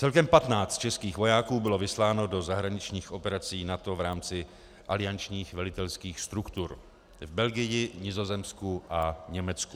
Celkem 15 českých vojáků bylo vysláno do zahraničních operací NATO v rámci aliančních velitelských struktur v Belgii, Nizozemsku a Německu.